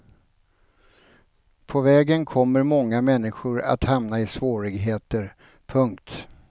På vägen kommer många människor att hamna i svårigheter. punkt